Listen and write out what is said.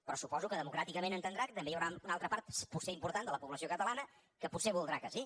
però suposo que democràticament entendrà que també hi haurà una altra part potser important de la població catalana que potser voldrà que sí